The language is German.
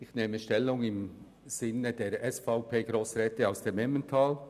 Ich nehme Stellung im Sinne der SVP-Grossräte aus dem Emmental.